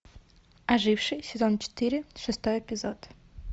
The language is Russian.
ожившие сезон четыре шестой эпизод